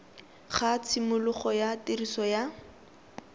ga tshimologo ya tiriso ya